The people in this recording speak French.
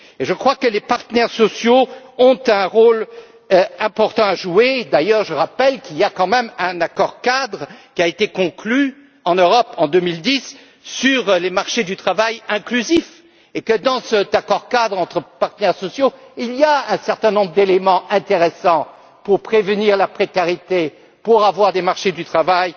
sujet. Selon moi, les partenaires sociaux ont un rôle important à jouer. Je rappelle d'ailleurs qu'il y a quand même un accord cadre qui a été conclu en Europe, en 2010, sur les marchés du travail inclusifs et que cet accord cadre entre partenaires sociaux prévoyait un certain nombre d'éléments intéressants pour prévenir la précarité, pour que les marchés du